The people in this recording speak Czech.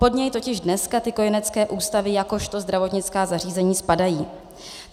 Pod něj totiž dneska ty kojenecké ústavy jakožto zdravotnická zařízení spadají.